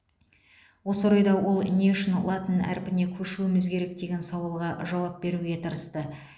осы орайда ол не үшін латын әрпіне көшуіміз керек деген сауалға жауап беруге тырысты